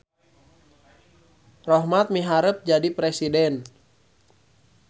Rohmat miharep jadi presiden